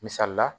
Misali la